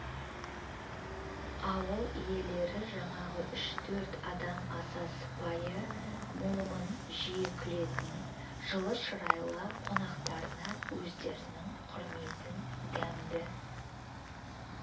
ауыл иелері жаңағы үш-төрт адам аса сыпайы момын жиі күлетін жылы шырайлы қонақтарына өздерінің құрметін дәмді